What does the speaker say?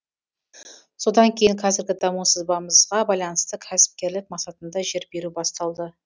содан кейін қазіргі даму сызбамызға байланысты кәсіпкерлік мақсатында жер беру басталды